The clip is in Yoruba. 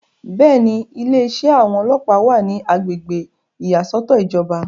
bẹ́ẹ̀ni, ilé iṣẹ́ àwọn ọlọ́ọ̀pá wà ní agbègbè ìyàsọ́tọ̀ ìjọba